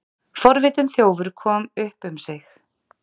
Forvitinn þjófur kom upp um sig